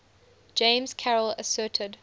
james carroll asserted